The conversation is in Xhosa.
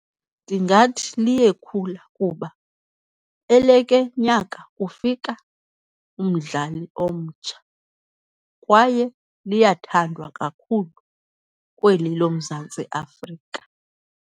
Ndingathi liyekhula kuba eleke nyaka kufika umdlali omtsha kwaye liyathandwa kakhulu kweli loMzantsi Afrika.